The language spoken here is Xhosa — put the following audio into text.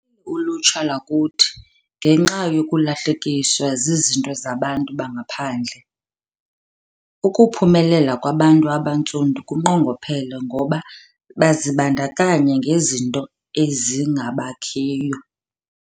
Luphelile ulutsha lwakuthi ngenxa yokulahlekiswa zizinto zabantu bangaphandle. Ukuphumelela kwabantu abantsundu kunqongophele ngoba bazibandakanya ngezinto ezingabakhiyo.